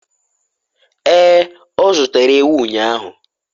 ee, o zụtara ewu ụnyahụ